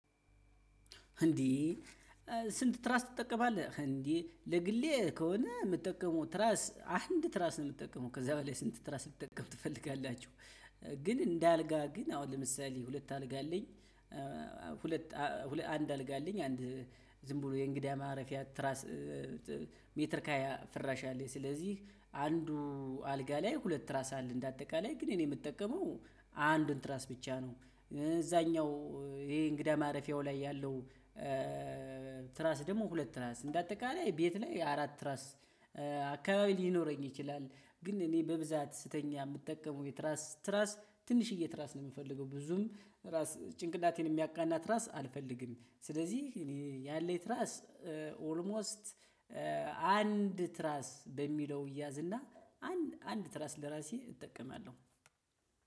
እንዴ ስንት ትራስ ትጠቀማለህ እንዴ? ለግሌ ከሆነ የምጠቀመው ትራስ አንድ ትራስ ነው የምጠቀመው ከዛ በላይ ስንት ትራስ ልትጠቀም ትፈልጋላችሁ? ግን እንደ አልጋ ግን አሁን ለምሳሌ ሁለት አልጋ አለኝ። ሁለት አንድ አልጋ አለኝ አንድ ዝም ብሎ የእንግዳ ማረፊያ ትራስ። ሜትር ከሃያ ፍራሽ አለኝ። ስለዚህ አንዱ አልጋ ላይ ሁለት ትራስ አለ እንደ አጠቃላይ ግን እኔ የምጠቀመው አንድ ትራስ ብቻ ነው። እዛኛው ይሄ እንግዳ ማረፊያው ላይ ያለው። ትራስ ደግሞ ሁለት ትራስ እንደ አጠቃላይ ቤት ላይ አራት ትራስ። አካባቢ ሊኖረኝ ይችላል። ግን እኔ በብዛት ስተኛ የምጠቀመው የትራስ ትራስ ትንሽዬ ትራስ ነው የምፈልገው ብዙም ራስ ጭንቅናቴን የሚያቃና ትራስ አልፈልግም። ስለዚህ እኔ ያለኝ ትራስ ኦልሞስት አንድ ትራስ በሚለው ይያዝና አንድ ትራስ ለራሲ እጠቀማለሁ።